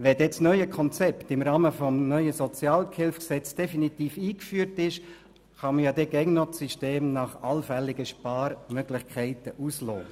Wenn das neue Konzept im Rahmen des neuen Sozialhilfekonzepts definitiv eingeführt worden ist, ist es immer noch möglich, das System auf allfällige Sparmöglichkeiten hin auszuloten.